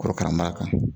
Korokara mara kan